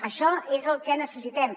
això és el que necessitem